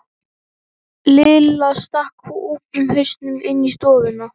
Lilla stakk úfnum hausnum inn í stofu.